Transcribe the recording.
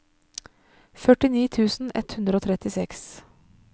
førtini tusen ett hundre og trettiseks